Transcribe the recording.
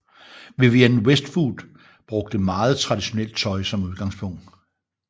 Vivienne Westwood brugte meget traditionelt tøj som udgangspunkt